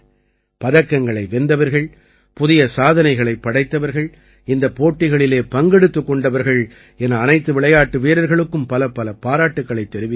பதக்கங்களை வென்றவர்கள் புதிய சாதனைகளைப் படைத்தவர்கள் இந்தப் போட்டிகளில் பங்கெடுத்துக் கொண்டவர்கள் என அனைத்து விளையாட்டு வீரர்களுக்கும் பலப்பல பாராட்டுக்களைத் தெரிவிக்கிறேன்